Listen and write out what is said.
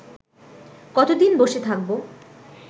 কতদিন বসে থাকব